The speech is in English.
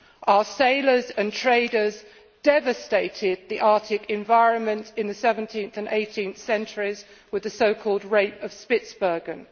Our sailors and traders devastated the Arctic environment in the 17th and 18th centuries with the so called rape of Spitsbergen'.